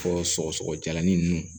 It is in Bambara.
Fɔ sɔgɔsɔgɔ jalanin ninnu